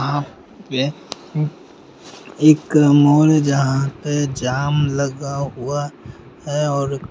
यह एक माल जहा पर जाम लगा हुआ है और --